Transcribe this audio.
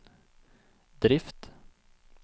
drift